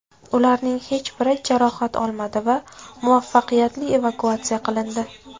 Ularning hech biri jarohat olmadi va muvaffaqiyatli evakuatsiya qilindi.